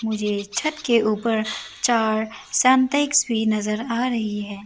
मुझे छत के ऊपर चार सिंटेक्स भी नजर आ रही है।